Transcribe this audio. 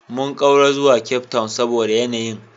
Mun ƙaura zuwa Cape Town saboda yanayin